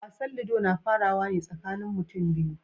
Wasan ludo na farawa ne tsakanin mutum biyu.